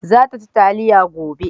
za ta ci taliya gobe